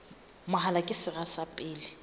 mahola ke sera sa pele